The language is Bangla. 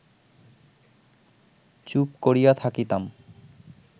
চুপ করিয়া থাকিতাম